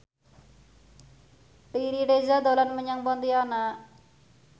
Riri Reza dolan menyang Pontianak